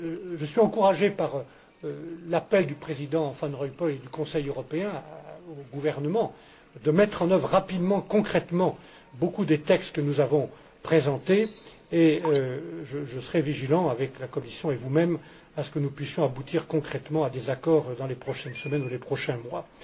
Je suis encouragé en cela par l'appel du Président Van Rompuy et du Conseil européen aux gouvernements à mettre en œuvre rapidement, concrètement, beaucoup des textes que nous avons présentés, et je veillerai, avec la Commission et vous mêmes, à ce que nous puissions aboutir concrètement à des accords dans les prochaines semaines ou les prochains